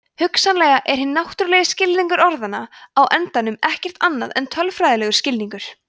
hugsanlega er hinn náttúrulegi skilningur orðanna á endanum ekkert annað en tölfræðilegur skilningur